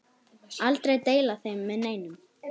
Aldrei deila þeim með neinum.